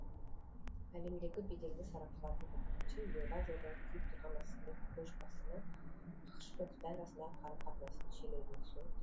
әлемдегі беделді сарапшылардың пікірінше еуразиядағы күйіп тұрған мәселелердің көшбасына ақш пен қытай арасындағы қарым қатынастың шиеленісуі тұр